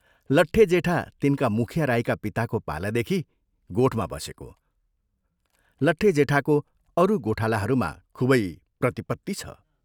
लट्टे जेठा तिनका मुखिया राईका पिताको पालादेखि गोठमा बसेको, लट्टे जेठाको अरू गोठालाहरूमा खूबै प्रतिपत्ति छ।